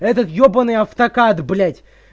этот ебаный автокад блять